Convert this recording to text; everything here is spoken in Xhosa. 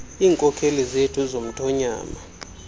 iinkokheli zethu zomthonyama